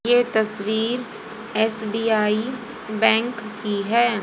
ये तस्वीर SBI bank की है।